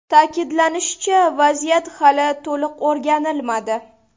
Ta’kidlanishicha, vaziyat hali to‘liq o‘rganilmadi.